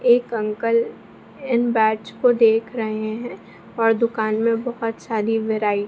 एक अंकल इन बैट्स को देख रहें हैं और दुकान में बहुत सारी वैरायटी --